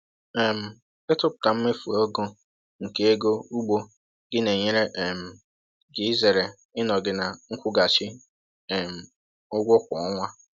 um Ịtụpụta mmefu ego nke ego ugbo gị na-enyere um gị izere ịnọghị na nkwụghachi um ụgwọ kwa ọnwa.